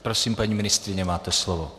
Prosím, paní ministryně, máte slovo.